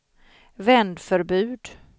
vändförbud